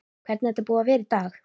Hvernig er þetta búið að vera í dag?